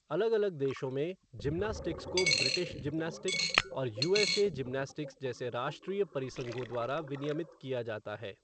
अलग अलग देशों में, जिमनास्टिक्स को ब्रिटिश जिमनास्टिक्स और यूएसए जिमनास्टिक्स जैसे राष्ट्रीय परिसंघों द्वारा विनियमित किया जाता है।